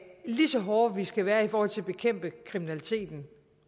lige så hårde vi skal være i forhold til at bekæmpe kriminaliteten